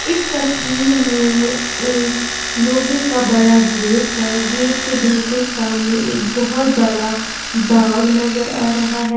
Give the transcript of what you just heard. इस तस्वीर में एक लोहे का बड़ा गेट है गेट के बिल्कुल सामने एक बहुत बड़ा बाग नजर आ रहा है।